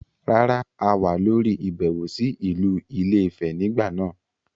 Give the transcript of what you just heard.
Rárá, a wà lórí ìbẹ̀wò sí ìlú ilé - ìfẹ nígbà náà.